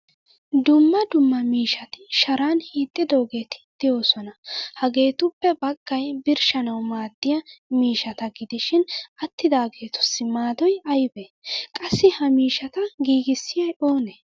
Dumma dumma miishshati sharan hiixidoogetti de'osona. Hagetuppe baggaay birshshanawu maadiyaa miishshata gidishin attidagetussi maadoy aybe? Qassi ha miishshata giigisiyay oone?